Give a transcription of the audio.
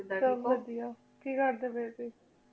ਦੇਯਾ ਕੀ ਕਰਦੀ ਪੀ ਸੇ